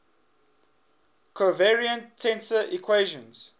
covariant tensor equations